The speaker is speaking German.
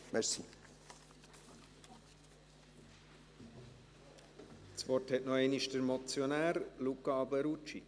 Das Wort hat noch einmal der Motionär: Luca Alberucci.